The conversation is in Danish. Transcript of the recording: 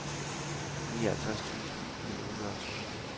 nioghalvtreds tusind ni hundrede og to